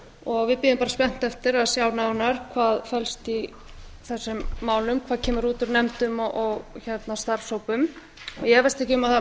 og við bíðum bara spennt eftir að sjá nánar hvað felst í þessum málum hvað kemur út úr nefndum og starfshópum ég efast ekki um að